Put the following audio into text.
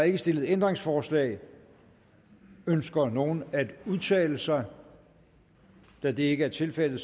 ikke stillet ændringsforslag ønsker nogen at udtale sig da det ikke er tilfældet